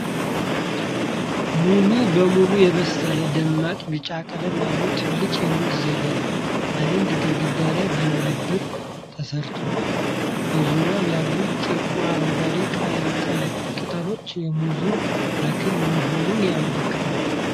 ሙሉ በሙሉ የበሰለ፣ ደማቅ ቢጫ ቀለም ያለው ትልቅ የሙዝ ዘለላ፣ በአንድ ግንድ ላይ በንብርብር ተሰረዏል። በዙሪያው ያሉት ጥቂት አረንጓዴ ቅጠሎች የሙዝ ተክል መሆኑን ያመለክታሉ።